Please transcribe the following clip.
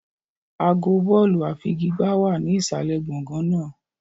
Àgọ́ bọ́ọ̀lù àfigigbá wà ní ìsàlẹ̀ gbọ̀ngàn náà.